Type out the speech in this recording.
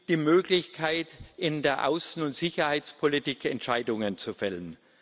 die Möglichkeit, in der Außen und Sicherheitspolitik Entscheidungen zu fällen.